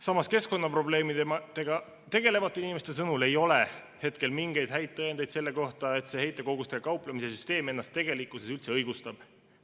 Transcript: Samas, keskkonnaprobleemidega tegelevate inimeste sõnul ei ole hetkel mingeid häid tõendeid selle kohta, et see heitkogustega kauplemise süsteem ennast tegelikkuses üldse õigustab.